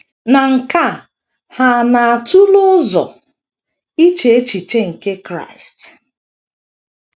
Na nke a, ha na - atule ụzọ iche echiche nke Kraịst.